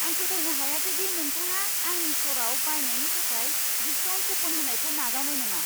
आं फोथायनो हायासै दि नोंथाङा आंनि स्ट'राव बायनायनि थाखाय डिस्काउन्ट कुपन होनायखौ नाजावनाय नङा।